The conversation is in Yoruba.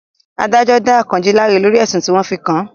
Adájọ́ dá Àkànjí láre lórí ẹ̀sùn tí wọ́n fi kàn án